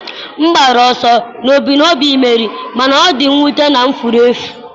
m gbara ọsọ n'ebumnobi imeri, mana ọ dị mwute na m furu efu.